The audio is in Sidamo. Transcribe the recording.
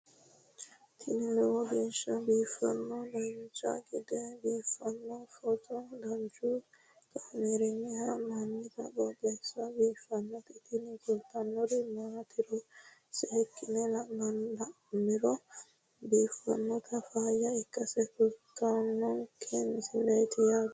tini lowo geeshsha biiffannoti dancha gede biiffanno footo danchu kaameerinni haa'noonniti qooxeessa biiffannoti tini kultannori maatiro seekkine la'niro biiffannota faayya ikkase kultannoke misileeti yaate